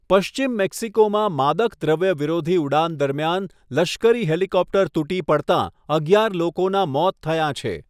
પશ્ચિમ મેક્સિકોમાં માદક દ્રવ્ય વિરોધી ઉડાન દરમિયાન લશ્કરી હેલિકોપ્ટર તૂટી પડતાં અગિયાર લોકોના મોત થયા છે.